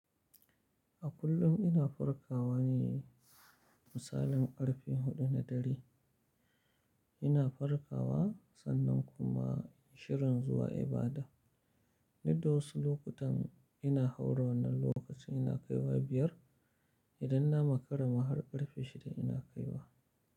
A kullum ina farkawa ne misalin karfe huɗu na dare. Ina farkawa sannan kuma shirin zuwa ibada. Du da wasu lokutan ina haura wannan lokacin ina kaiwa biyar. Idan na makara ma har ƙarfe shida ina kaiwa.